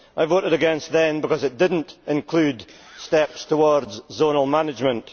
I voted against then because it did not include steps towards zonal management.